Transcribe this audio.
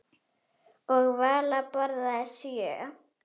Og Vala borðaði sjö.